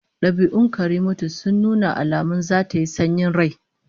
Dabi'un Karimatu sun nuna alamun zata yi sanyin rai